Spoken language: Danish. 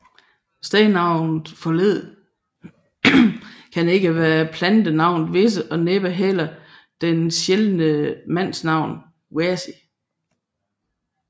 Stednavnets forled kan ikke være plantenavnet visse og næppe heller det sjældne mandsnavn Wæsi